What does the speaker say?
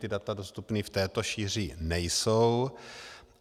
Ta data dostupné v této šíři nejsou.